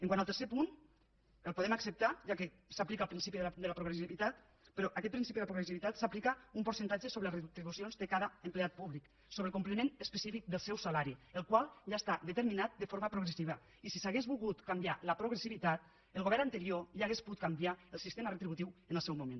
quant al tercer punt el podem acceptar ja que s’aplica el principi de la progressivitat però en aquest principi de la progressivitat s’aplica un percentatge sobre les retribucions de cada empleat públic sobre el complement específic del seu salari el qual ja està determinat de forma progressiva i si s’hagués volgut canviar la progressivitat el govern anterior ja hauria pogut canviar el sistema retributiu en el seu moment